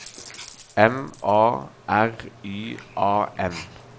M A R Y A N